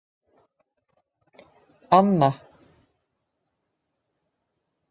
Anna